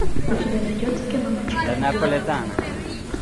у тебя найдется кино мачете убивает